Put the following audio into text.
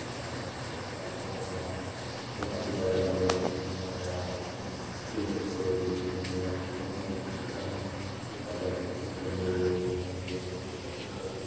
नजारे काफी सुंदर लग रहा है ये काफी बड़े लग रहे ये काफी लंबा नजर आ रहा है इसमें कुछ बच्चे वगैरह दिख रहे हैं जो वो अपने जिसके सामने कुछ कागज पेंसिल पेन वगेरह रखे हुए हैं जो उससे कटिंग करके --